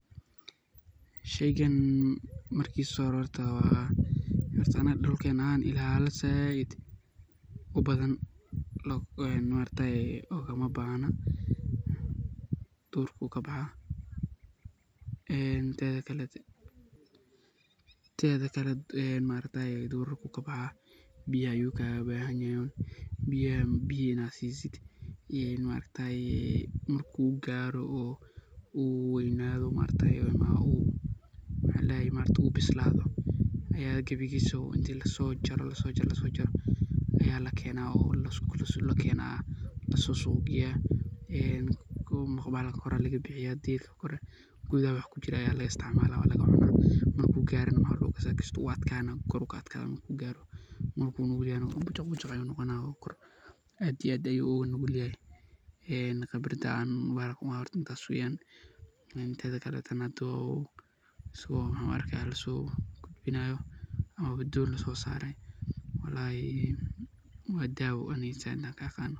Sheeygan markisa horta wa hoorta anga dulkena ahan saait u bathan maargtahay ugama bahna duur ayu kabaxaa ee tetha kaleto ee maaragtay durarka ayu kabaxaa biyaha ayu kagabahanyahay, biya Ina siseet ee maargtahay marku karoh oo weynathoh maargtahay ayu maxaldahay oo bislathoh Aya kabigisobo lasojaroh, Aya lageenah oo suuq lageeyah ee kow marki horay deefkabkori laga bixiyah kuthaha wixi kujiroh Aya laga isticmalah, marku garoh maxa lagukasi wuu adganah kor ayu kaadganah marku nugulyahay bujoq bujoq ayunoqonah kor aad iyo aad ayu ugu nugulyahay ee qebarda ee bahalkana u hayao wa intaas weeyan tetha kaleto handu waxan laso gudbinayo doon lasosaray walalahi wadawo Anika inta ka qaanoh.